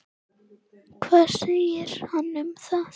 Hvað segir hann um það?